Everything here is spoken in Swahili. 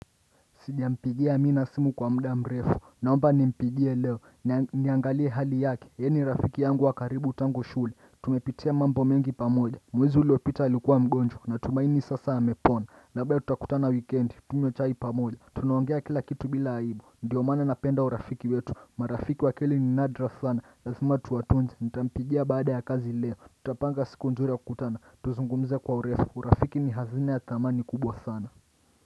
Sijampigia amina simu kwa mda mrefu Naomba nimpigie leo Niangalie hali yake yeye ni rafiki yangu wakaribu tangu shule Tumepitia mambo mengi pamoja Mwezi uliopita alikuwa mgonjwa na tumaini sasa amepona Naomba ya tutakutana wikendi Tunywe chai pamoja Tunaongea kila kitu bila aibu Ndiyo maana napenda urafiki wetu marafiki wakweli ni nadra sana Lazima tuwatunze Nitampigia baada ya kazi leo Tutapanga siku nzuri ya kukutana Tuzungumze kwa urefu urafiki ni hazina ya thamani kubwa sana.